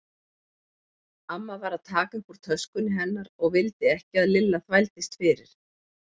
Amma var að taka upp úr töskunni hennar og vildi ekki að Lilla þvældist fyrir.